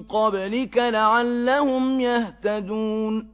قَبْلِكَ لَعَلَّهُمْ يَهْتَدُونَ